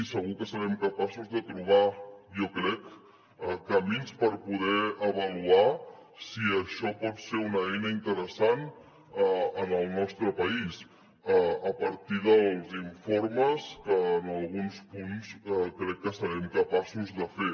segur que serem capaços de trobar jo crec camins per poder avaluar si això pot ser una eina interessant en el nostre país a partir dels informes que en alguns punts crec que serem capaços de fer